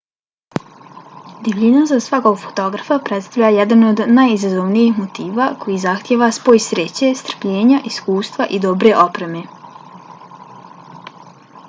divljina za svakog fotografa predstavlja jedan od najizazovnijih motiva koji zahtijeva spoj sreće strpljenja iskustva i dobre opreme